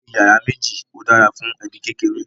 ilé iyàrá méjì ọ dára fún ẹbi kékeré